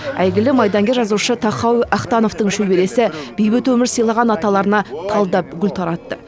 әйгілі майдангер жазушы тахауи ахтановтың шөбересі бейбіт өмір сыйлаған аталарына талдап гүл таратты